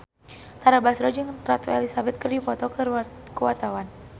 Tara Basro jeung Ratu Elizabeth keur dipoto ku wartawan